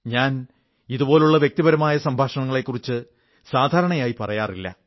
ഞാൻ ഇതുപോലുള്ള വ്യക്തിപരമായ സംഭാഷണങ്ങളെക്കുറിച്ച് സാധാരണയായി പറയാറില്ല